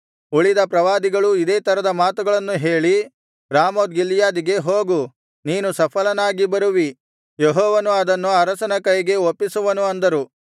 ಉಳಿದ ಪ್ರವಾದಿಗಳೂ ಇದೇ ತರದ ಮಾತುಗಳನ್ನು ಹೇಳಿ ರಾಮೋತ್ ಗಿಲ್ಯಾದಿಗೆ ಹೋಗು ನೀನು ಸಫಲನಾಗಿ ಬರುವಿ ಯೆಹೋವನು ಅದನ್ನು ಅರಸನ ಕೈಗೆ ಒಪ್ಪಿಸುವನು ಅಂದರು